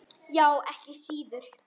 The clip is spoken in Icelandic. Já, ekki síður.